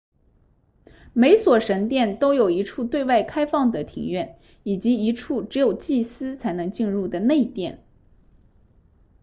每所神殿都有一处对外开放的庭院以及一处只有祭司才能进入的内殿